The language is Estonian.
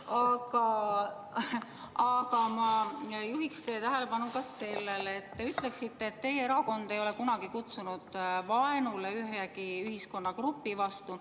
Aga ma juhin teie tähelepanu sellele, et te ütlesite, et teie erakond ei ole kunagi üles kutsunud vaenule ühegi ühiskonnagrupi vastu.